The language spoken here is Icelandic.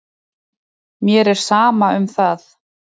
Mér er sama um það.